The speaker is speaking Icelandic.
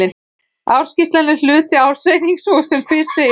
Ársskýrslan er hluti af ársreikningi svo sem fyrr segir.